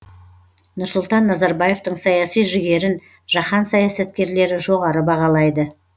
нұрсұлтан назарбаевтың саяси жігерін жаһан саясаткерлері жоғары бағалайды